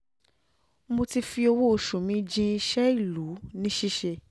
um mo ti fi owó-oṣù mi jin iṣẹ́ ìlú um ìlú um ní ṣíṣe